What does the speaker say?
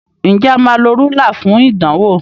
Nje a má ló Rúlà fún ìdánwò?